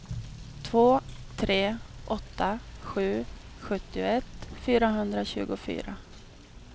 två tre åtta sju sjuttioett fyrahundratjugofyra